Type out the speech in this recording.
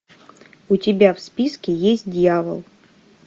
у тебя в списке есть дьявол